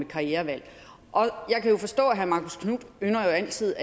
karrierevalg herre marcus knuth ynder jo altid